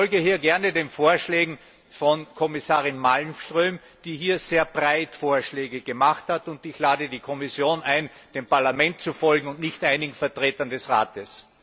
Ich folge hier gerne den Vorschlägen von Kommissarin Malmström, die hier sehr breit angelegte Vorschläge gemacht hat, und ich lade die Kommission ein, dem Parlament zu folgen und nicht einigen Vertretern des Rates.